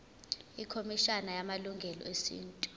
ikhomishana yamalungelo esintu